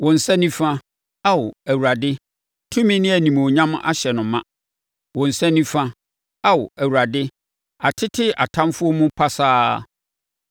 Wo nsa nifa, Ao, Awurade, tumi ne animuonyam ahyɛ no ma. Wo nsa nifa, Ao, Awurade, atete atamfoɔ mu pasaa.